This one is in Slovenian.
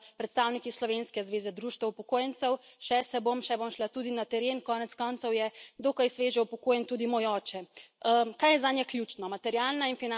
In sama sem se nekajkrat srečala s predstavniki slovenske zveze društev upokojencev, še se bom, še bom šla tudi na teren, konec koncev je dokaj sveže upokojen tudi moj oče.